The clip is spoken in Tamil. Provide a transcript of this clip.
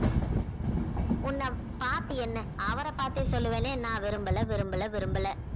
உன்னை பார்த்து என்ன அவரை பார்த்தே சொல்லுவேனே நான் விரும்பலை விரும்பலை விரும்பலை